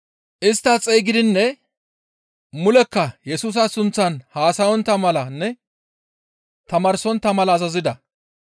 Istta xeygidinne mulekka Yesusa sunththan haasayontta malanne tamaarsontta mala azazida.